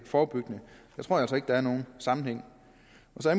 forebyggende jeg tror altså ikke der er nogen sammenhæng